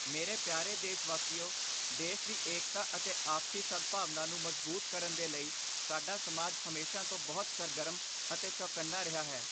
ਮੇਰੇ ਪਿਆਰੇ ਦੇਸ਼ਵਾਸੀਓ, ਦੇਸ਼ ਦੀ ਏਕਤਾ ਅਤੇ ਆਪਸੀ ਸਦਭਾਵਨਾ ਨੂੰ ਮਜਬੂਤ ਕਰਨ ਦੇ ਲਈ ਸਾਡਾ ਸਮਾਜ ਹਮੇਸ਼ਾ ਤੋਂ ਬਹੁਤ ਸਰਗਰਮ ਅਤੇ ਚੌਕੰਨਾ ਰਿਹਾ ਹੈ।